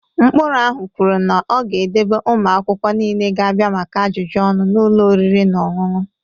Ụkpụrụ ahụ kwuru na ọ ga-edebe ụmụ akwụkwọ niile ga-abịa maka ajụjụ ọnụ n'ụlọ oriri na ọṅụṅụ.